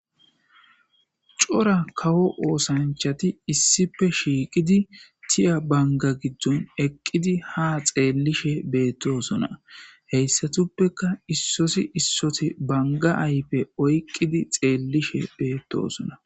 Cora kawo oosanchati issipe shiiqidi tiya banga giddon eqqidi ha xeellishe beettosona heyssatuppeka issosi issoti banga aype oyqqidi xeellishe beettosona